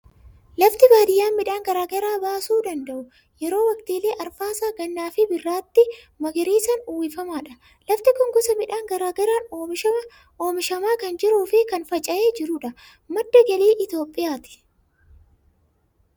Lafti baadiyaa midhaan garaa garaa baasuu danda'u, yeroo waqtiilee arfaasaa, gannaa fi birraatti magariisaan uwwifamaadha. Lafti kun gosa midhaan garaa garaan oomishamaa kan jiruu fi kan faca'ee jirudha. Madda galii Itoophiyaati.